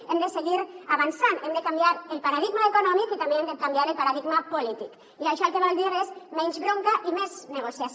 hem de seguir avançant hem de canviar el paradigma econòmic i també hem de canviar el paradigma polític i això el que vol dir és menys bronca i més negociació